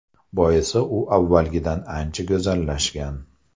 Boisi u avvalgidan ancha go‘zallashgan.